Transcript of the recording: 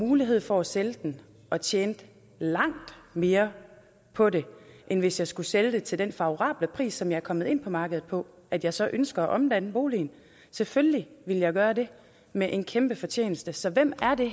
mulighed for at sælge den og tjene langt mere på den end hvis jeg skulle sælge den til den favorable pris som jeg er kommet ind på markedet på at jeg så ønsker at omdanne boligen selvfølgelig ville jeg gøre det med en kæmpe fortjeneste så hvem er det